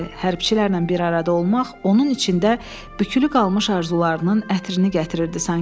Hərbiçilərlə bir arada olmaq onun içində bükülü qalmış arzularının ətrini gətirirdi sanki.